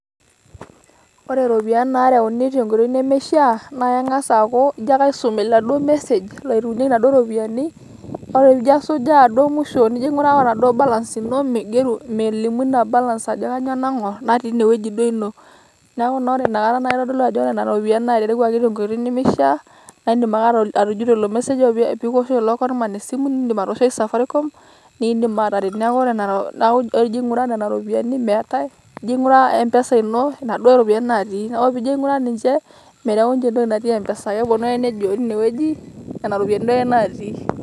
Ore iropiyiani naareuni tenkoitoi nemeifaa naa keng'as aaku ijo ake aisum oladuo message otereunyieki Ina duo ropiyiani ore pee ijo asujaa duo muisho nijo aing'uraa eduo balas ino meigeru melimu Ina balas ajo naing'orr natii ene wueji duo ino neeku naa ore Ina Kata naa keitodolu ajo ore Nena ropiyiani naa eterewuaki te nkoitoi nemeishaa naa iidim ake atujuto ilo Message ore pee kikiwoshoki lelo kora esimu niidim atowoshoki Sakarikom niidim aateret neeku ore ajo aing'uraa Nena ropiyiani meetae ejo aing'uraa Mpsa Ino Ina duo ropiyiani ake natii ore piijo aing'uraa ninche meyau nche entoki natii Mpsa keponu ake neji teine wueji Nena ropiyiani ake duo natii.